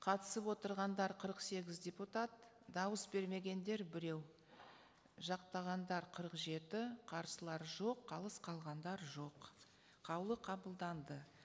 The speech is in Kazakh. қатысып отырғандар қырық сегіз депутат дауыс бермегендер біреу жақтағандар қырық жеті қарсылар жоқ қалыс қалғандар жоқ қаулы қабылданды